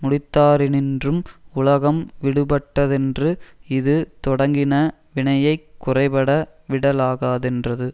முடித்தாரினின்றும் உலகம் விடூபட்டதென்று இது தொடங்கின வினையைக் குறைபட விடலாகாதென்றது